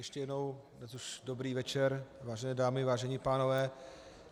Ještě jednou, teď už dobrý večer, vážené dámy, vážení pánové.